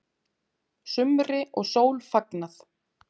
Sumri og sól fagnað